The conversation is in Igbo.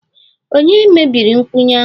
Ònye mebiri nkwụnye ahụ?